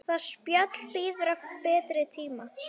Það spjall bíður betri tíma.